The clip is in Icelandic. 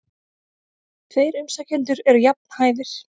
Tveir umsækjendur eru jafn hæfir.